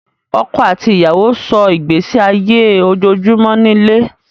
Ọkọ̀ àti ìyàwó sọ́ ìgbésí ayé ojoojúmọ́ nílé